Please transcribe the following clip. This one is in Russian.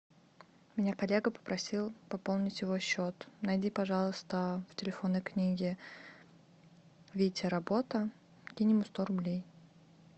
меня коллега попросил пополнить его счет найди пожалуйста в телефонной книге витя работа кинь ему сто рублей